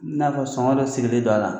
N'a fɔ sɔngɔ dɔ sigilen dɔ a la.